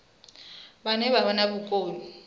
vhane vha vha na vhukoni